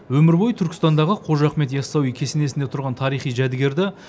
өмір бойы түркістандағы қожа ахмет яссауи кесенесінде тұрған тарихи жәдігерді